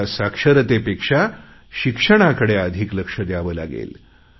आता साक्षरतेपेक्षा शिक्षणाकडे अधिक लक्ष द्यावे लागेल